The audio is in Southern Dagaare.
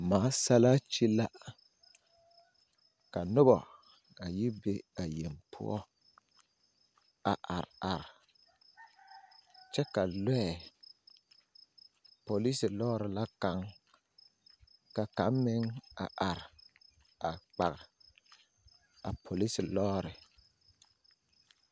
Masalaakyi la ka noba a yi be a yeŋ poɔ a are are kyɛ ka loɛ polisiri loori la kaŋ ka kaŋ meŋ a are kpare a polisiri loori.